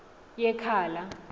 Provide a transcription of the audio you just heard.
yekhala